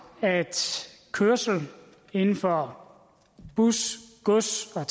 at kørsel inden for bus gods og